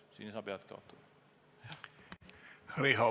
Riho Breivel, palun!